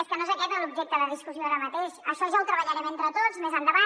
és que no és aquest l’objecte de discussió ara mateix això ja ho treballarem entre tots més endavant